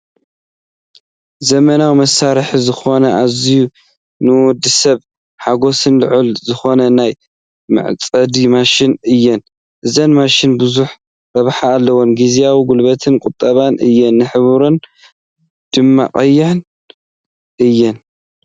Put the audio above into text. ዘመናዊ መሳርሒ ዝኮና ኣዝዩ ንወድሰብ ሓገዘን ልዑል ዝኮና ናይ መዕፀዲ ማሽን እየን ። እዘን ማሽን ብዙሕ ረብሓ ኣለወን ግዜን ጉልበትን ቆጣቢ እየን ሕብረን ድማ ቀይሕ እዩ።